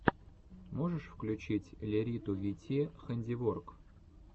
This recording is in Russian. можешь включить лериту вт хэндиворк